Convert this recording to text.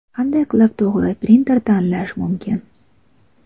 Qanday qilib to‘g‘ri printer tanlash mumkin?.